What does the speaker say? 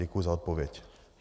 Děkuji za odpověď.